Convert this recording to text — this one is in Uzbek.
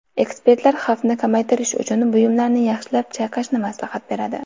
Ekspertlar xavfni kamaytirish uchun buyumlarni yaxshilab chayqashni maslahat beradi.